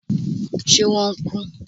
ṣe wọn n ku?